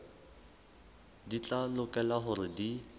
di tla lokela hore di